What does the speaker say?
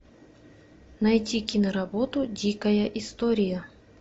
найти киноработу дикая история